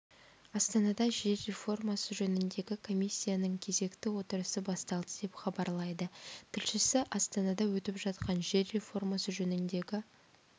астанада жер реформасы жөніндегі комиссияның кезекті отырысы басталды деп хабарлайды тілшісі астанада өтіп жатқан жер реформасы жөніндегі